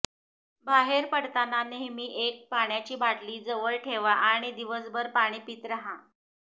बाहेर पडताना नेहमी एक पाण्याची बाटली जवळ ठेवा आणि दिवसभर पाणी पीत राहा